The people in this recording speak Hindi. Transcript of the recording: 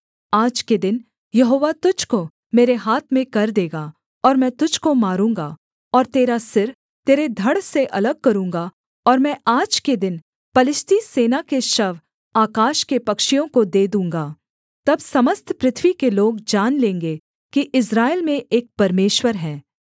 आज के दिन यहोवा तुझको मेरे हाथ में कर देगा और मैं तुझको मारूँगा और तेरा सिर तेरे धड़ से अलग करूँगा और मैं आज के दिन पलिश्ती सेना के शव आकाश के पक्षियों को दे दूँगा तब समस्त पृथ्वी के लोग जान लेंगे कि इस्राएल में एक परमेश्वर है